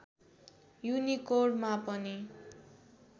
युनिकोडमा पनि